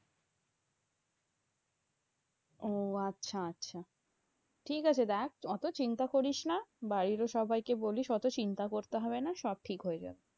ও আচ্ছা আচ্ছা। ঠিকাছে দেখ, অত চিন্তা করিস না। বাড়িতে সবাইকে বলিস অত চিন্তা করতে হবে না। সব ঠিক হয়ে যাবে।